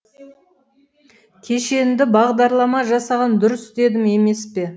кешенді бағдарлама жасаған дұрыс дедім емес пе